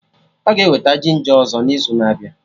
Ọ ga-eweta ginja ọzọ n'izu na-abịa